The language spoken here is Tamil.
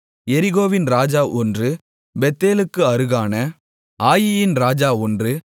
எரிகோவின் ராஜா ஒன்று பெத்தேலுக்கு அருகான ஆயீயின் ராஜா ஒன்று